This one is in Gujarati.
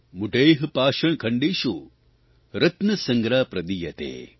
મૂઢૈઃ પાષાણખંડેશું રત્ન સંજ્ઞા પ્રદીયતે